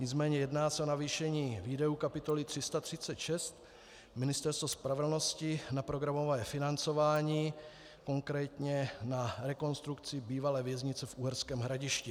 Nicméně jedná se o navýšení výdajů kapitoly 336 Ministerstvo spravedlnosti na programové financování, konkrétně na rekonstrukci bývalé věznice v Uherském Hradišti.